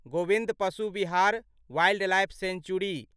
Govind Pashu Vihar wildlife century